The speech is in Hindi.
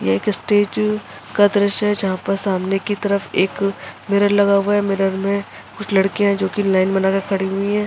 ये एक सटेचू का दृश्य है जहा पर सामने की तरफ एक मिरर लगा हुआ है मिरर में कुछ लड़किया है जोकि लाइन बना के खड़ी हुई है।